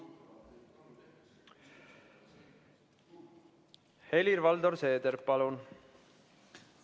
Helir-Valdor Seeder, palun!